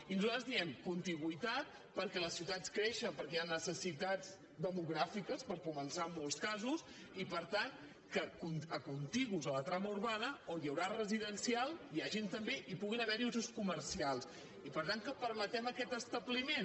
i nosaltres diem contigüitat perquè les ciu·tats creixen perquè hi ha necessitats demogràfiques per començar en molts casos i per tant contigus a la trama urbana on hi haurà residencial i que hi hagin també hi puguin haver usos comercials i per tant que permetem aquest establiment